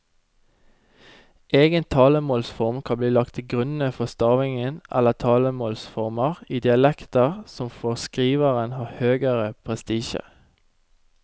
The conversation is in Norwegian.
Egen talemålsform kan bli lagt til grunn for stavingen eller talemålsformer i dialekter som for skriveren har høgere prestisje.